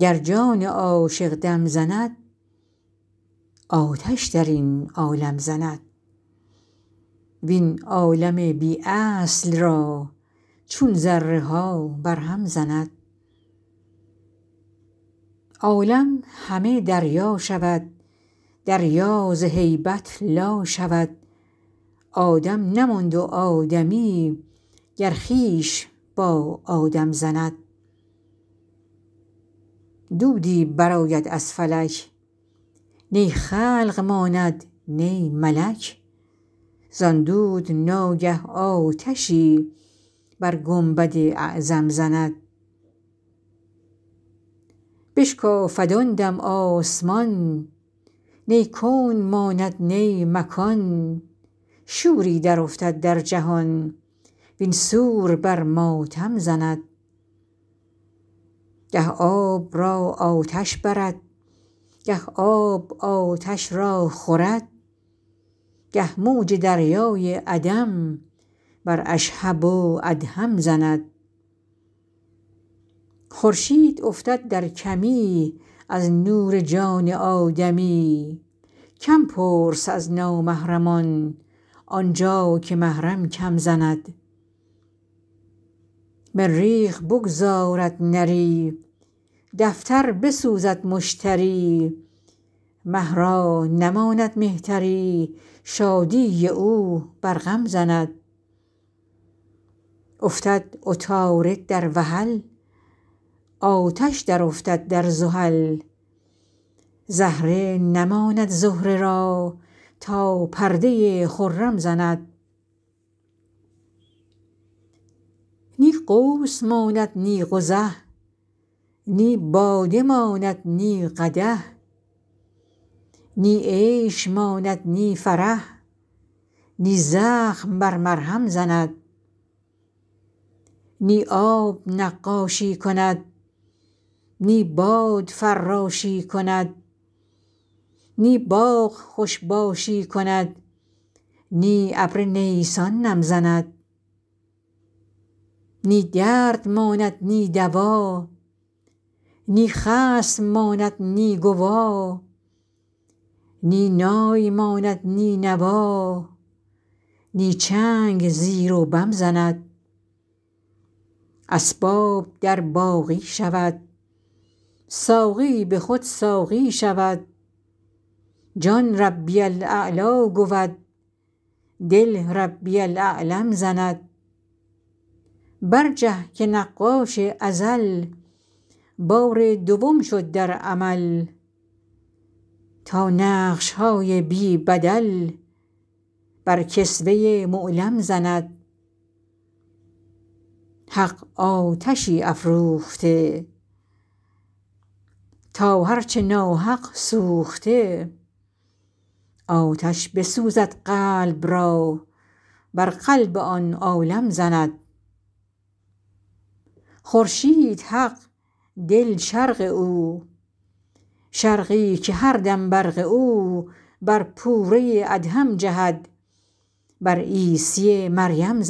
گر جان عاشق دم زند آتش در این عالم زند وین عالم بی اصل را چون ذره ها برهم زند عالم همه دریا شود دریا ز هیبت لا شود آدم نماند و آدمی گر خویش با آدم زند دودی برآید از فلک نی خلق ماند نی ملک زان دود ناگه آتشی بر گنبد اعظم زند بشکافد آن دم آسمان نی کون ماند نی مکان شوری درافتد در جهان وین سور بر ماتم زند گه آب را آتش برد گه آب آتش را خورد گه موج دریای عدم بر اشهب و ادهم زند خورشید افتد در کمی از نور جان آدمی کم پرس از نامحرمان آن جا که محرم کم زند مریخ بگذارد نری دفتر بسوزد مشتری مه را نماند مهتری شادی او بر غم زند افتد عطارد در وحل آتش درافتد در زحل زهره نماند زهره را تا پرده خرم زند نی قوس ماند نی قزح نی باده ماند نی قدح نی عیش ماند نی فرح نی زخم بر مرهم زند نی آب نقاشی کند نی باد فراشی کند نی باغ خوش باشی کند نی ابر نیسان نم زند نی درد ماند نی دوا نی خصم ماند نی گوا نی نای ماند نی نوا نی چنگ زیر و بم زند اسباب در باقی شود ساقی به خود ساقی شود جان ربی الاعلی گود دل ربی الاعلم زند برجه که نقاش ازل بار دوم شد در عمل تا نقش های بی بدل بر کسوه معلم زند حق آتشی افروخته تا هر چه ناحق سوخته آتش بسوزد قلب را بر قلب آن عالم زند خورشید حق دل شرق او شرقی که هر دم برق او بر پوره ادهم جهد بر عیسی مریم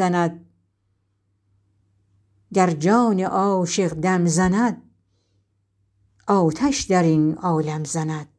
زند